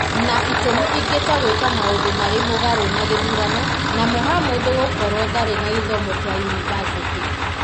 na itũmi ingĩ ta gwĩka maũndũ marĩ mũgarũ na gĩthurano na Mohamud gũkorwo ndaarĩ na gĩthomo kĩa yunivasĩtĩ,